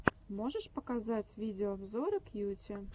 можешь показать видеообзоры кьюти